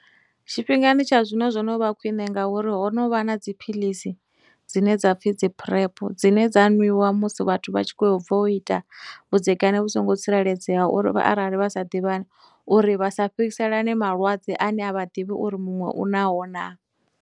Tshifhingani tsha zwino zwo no vha khwine ngauri ho no vha na dziphilisi dzine dza pfhi dzi PrEP dzine dza nwiwa musi vhathu vha tshi khou bva u ita vhudzekani vhu songo tsireledzeaho uri arali vha sa ḓivhani, uri vha sa fhirisalane malwadze ane a vha ḓivhi uri muṅwe u naho na.